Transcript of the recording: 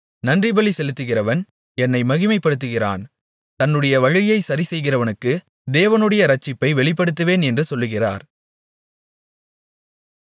நன்றிபலி செலுத்துகிறவன் என்னை மகிமைப்படுத்துகிறான் தன்னுடைய வழியைச் சரிசெய்கிறவனுக்கு தேவனுடைய இரட்சிப்பை வெளிப்படுத்துவேன் என்று சொல்லுகிறார்